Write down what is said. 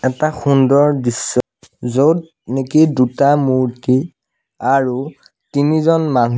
এটা সুন্দৰ দৃশ্য য'ত নেকি দুটা মূৰ্ত্তি আৰু তিনিজন মানুহ--